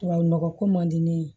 Tubabu nɔgɔ ko man di ne ye